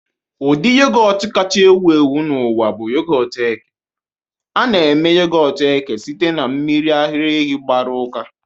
Ụdị yogọt kacha ewu ewu n'ụwa bụ yogọt eke. A na-eme yogọt eke sitere na mmiri ara ehi gbaru uka